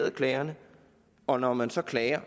af klager og når man så klager